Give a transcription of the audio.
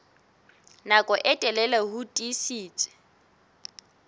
nako e telele ho tiisitse